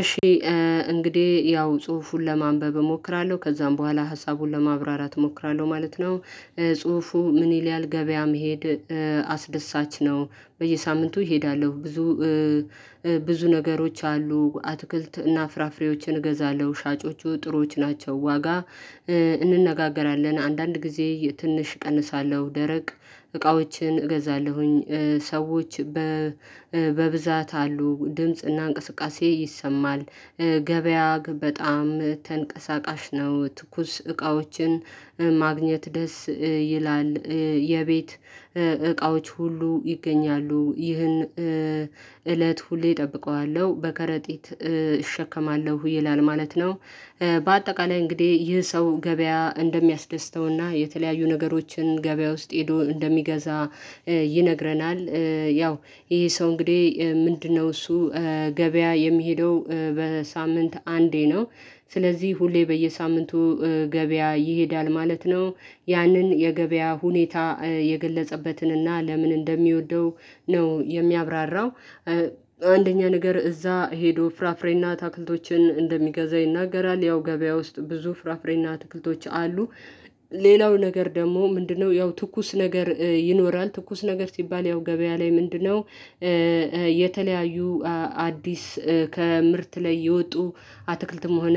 እሺ እንግዲህ ያው ጽሁፉን ለማንበብ እሞክራለሁ ከዛም በኋላ ሀሳቡን ለማብራራት እሞክራለሁ ማለት ነው። ጽሁፉ ምን ይልያል? ገበያ መሄድ። አስደሳች ነው። በየሳምንቱ እሄዳለሁ ብዙ ብዙ ነገሮች አሉ አትክልት እና ፍራፍሬዎችን ገዛለሁ ሻጮቹ ጥሩዎች ናቸው። ዋጋ እንነጋገራለን አንዳንድ ጊዜ ትንሽ እቀንሳለሁ ደረቅ እቃዎችን እገዛለሁኝ። ሰዎች በብዛት አሉ ድምጽና እንቅስቃሴ ይሰማል። ገበያ በጣም ተንቀሳቃሽ ነው። ትኩስ እቃዎችን ማግኘት ደስ ይላል የቤት እቃዎች ሁሉ ይገኛሉ። ይህን እለት ሁሌ እጠብቀዋለሁ በከረጢት እሸከማለሁ ይላል ማለት ነው። በአጠቃላይ እንግዲህ ይህ ሰው ገበያ እንደሚያስደስተውና የተለያዩ ነገሮችን ገበያ ውስጥ ሄዶ እንደሚገዛ ይነግረናል። ያው ይሄ ሰው እንግዲህ ምንድነው? እሱ ገበያ የሚሄደው በሳምንት አንዴ ነው። ስለዚህ ሁሌ በየሳምንቱ ገበያ ይሄዳል ማለት ነው። ያንን የገበያ ሁኔታ የገለጸበትን እና ለምን እንደሚወደው ነው የሚያብራራው። አንደኛ ነገር እዛ ሄዶ ፍራፍሬና አትክልቶችን እንደሚገዛ ይናገራል። ያው ገበያ ውስጥ ብዙ ፍራፍሬና አትክልቶች አሉ። ሌላው ነገር ደግሞ ምንድነው? ያው ትኩስ ነገር ይኖራል ትኩስ ነገር ሲባል ያው ገበያ ላይ ምንድነው? የተለያዩ አዲስ ከምርት ላይ የወጡ አትክልትም ሆነ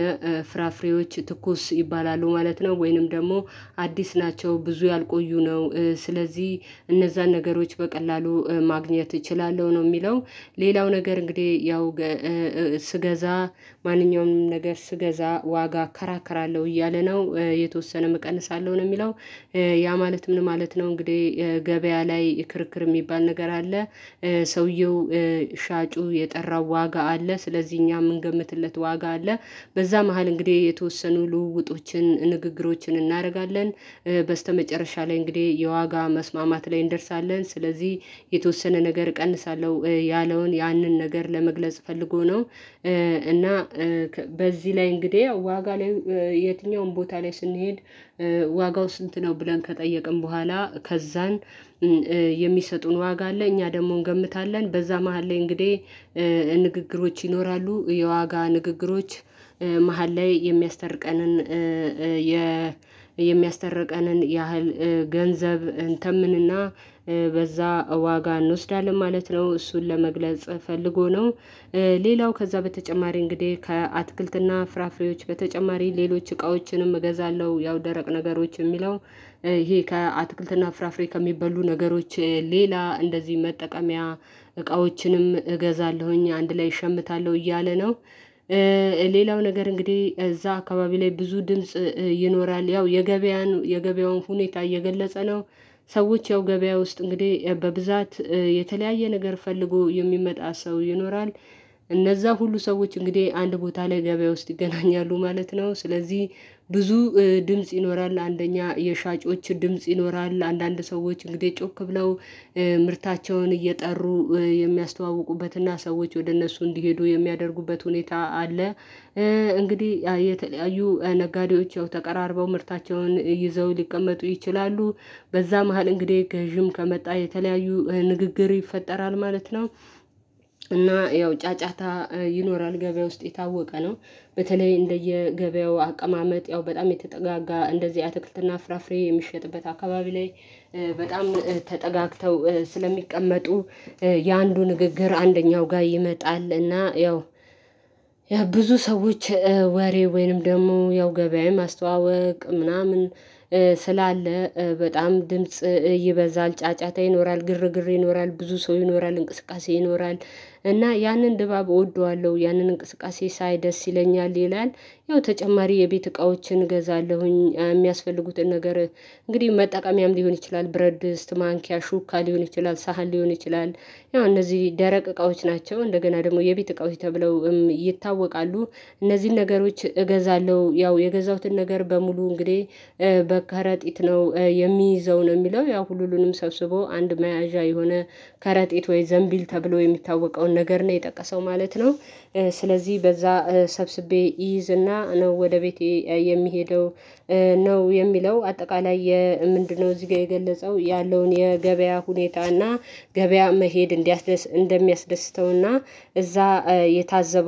ፍራፍሬዎች ትኩስ ይባላሉ ማለት ነው። ወይንም ደግሞ አዲስ ናቸው። ብዙ ያልቆዩ ነው ስለዚህ እነዛን ነገሮች በቀላሉ ማግኘት እችላለሁ ነው የሚለው። ሌላው ነገር እንግዲህ ያው ስገዛ ማንኛውም ነገር ስገዛ ዋጋ እከራከራለሁ እያለ ነው የተወሰነ እቀንሳለሁ ነው የሚለው። ያ ማለት ምን ማለት ነው? እንግዲህ ገበያ ላይ ክርክር የሚባል ነገር አለ። ሰውየው ሻጩ የጠራው ዋጋ አለ ስለዚህ እኛ ምንገምትለት ዋጋ አለ። በዛ መሃል እንግዲህ የተወሰኑ ልውውጦችን ንግግሮችን እናደርጋለን በስተመጨረሻ ላይ እንግዲህ የዋጋ መስማማት ላይ እንደርሳለን። ስለዚህ የተወሰነ ነገር እቀንሳለሁ ያለውን ያንን ነገር ለመግለጽ ፈልጎ ነው። እና በዚህ ላይ እንግዲህ ዋጋ ላይ የትኛውም ቦታ ላይ ስንሄድ ዋጋው ስንት ነው? ብለን ከጠየቅን በኋላ ከዛን የሚሰጡን ዋጋ አለ እኛ ደግሞ እንገምታለን በዛ መሃል ላይ እንግዲህ ንግግሮች ይኖራሉ የዋጋ ንግግሮች መሃል ላይ የሚያስተርቀንን የ የሚያስተርቀንን ያህል ገንዘብ እንተምንና በዛ ዋጋ እንወስዳለን ማለት ነው። እሱን ለመግለጽ ፈልጎ ነው። ሌላው ከዛ በተጨማሪ እንግዲህ ከአትክልትና ፍራፍሬዎች በተጨማሪ ሌሎች እቃዎችንም እገዛለሁ ያው ደረቅ ነገሮች የሚለው ይሄ ከአትክልትና ፍራፍሬ ከሚበሉ ነገሮች ሌላ እንደዚህ መጠቀሚያ እቃዎችንም እገዛለሁኝ አንድ ላይ እሸምታለሁ እያለ ነው። ሌላው ነገር እንግዲህ እዛ አካባቢ ላይ ብዙ ድምጽ ይኖራል ያው የገበያውን ሁኔታ እየገለጸ ነው። ሰዎች ያው ገበያ ውስጥ እንግዲህ በብዛት የተለያየ ነገር ፈልጎ የሚመጣ ሰው ይኖራል። እነዛ ሁሉ ሰዎች እንግዲህ አንድ ቦታ ላይ ገበያ ውስጥ ይገናኛሉ ማለት ነው። ስለዚህ ብዙ ድምጽ ይኖራል አንደኛ የሻጮች ድምጽ ይኖራል አንዳንድ ሰዎች እንግዲህ ጮክ ብለው ምርታቸውን እየጠሩ የሚያስተዋውቁበትና ሰዎች ወደ እነሱ እንዲሄዱ የሚያደርጉበት ሁኔታ አለ። እንግዲህ የተለያዩ ነጋዴዎች ተቀራርበው ምርታቸውን ይዘው ሊቀመጡ ይችላሉ። በዛ መሃል እንግዲህ ገዢም ከመጣ የተለያዩ ንግግር ይፈጠራል ማለት ነው። እና ያው ጫጫታ ይኖራል ገበያ ውስጥ የታወቀ ነው። በተለይ እንደየገበያው አቀማመጥ ያው በጣም የተጠጋጋ እንደዚህ አትክልትና ፍራፍሬ የሚሸጥበት አካባቢ ላይ በጣም ተጠጋግተው ስለሚቀመጡ የአንዱ ንግግር አንደኛው ጋር ይመጣልና ያው ያ ብዙ ሰዎች ወሬ ወይንም ደግሞ ያው ገበያዬን ማስተዋወቅ ምናምን ስላለ በጣም ድምጽ ይበዛል ጫጫታ ይኖራል ግርግር ይኖራል ብዙ ሰው ይኖራል እንቅስቃሴ ይኖራል። እና ያንን ድባብ እወደዋለሁ ያንን እንቅስቃሴ ሳይ ደስ ይለኛል ይላል። ያው ተጨማሪ የቤት እቃዎችን እገዛለሁኝ የሚያስፈልጉትን ነገር እንግዲህ መጠቀምያም ሊሆን ይችላል ብረድስት ማንኪያ ሹካ ሊሆን ይችላል ሳህን ሊሆን ይችላል። ያው እነዚህ ደረቅ እቃዎች ናቸው እንደገና ደግሞ የቤት እቃዎች ተብለው ይታወቃሉ። እነዚህን ነገሮች እገዛለሁ ያው የገዛሁትን ነገር በሙሉ እንግዲህ በከረጢት ነው የሚይዘው ነው የሚለው ያው ሁሉንም ሰብስቦ አንድ መያዣ የሆነ ከረጢት ወይ ዘንቢል ተብሎ የሚታወቀውን ነገር ነው የጠቀሰው ማለት ነው። ስለዚህ በዛ ሰብስቤ ይይዝና ነው ወደ ቤቴ የሚሄደው ነው የሚለው አጠቃላይ ምንድነው እዚህ ጋር የገለጸው ያለውን የገበያ ሁኔታና ገበያ መሄድ እንዲያስደስት እንደሚያስደስተውና እዛ የታዘበ